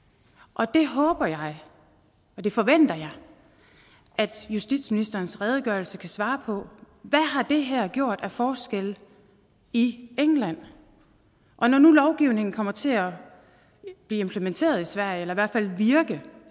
og det håber jeg og det forventer jeg at justitsministerens redegørelse kan svare på hvad har det her gjort af forskel i england og når nu lovgivningen kommer til at blive implementeret i sverige eller i hvert fald virke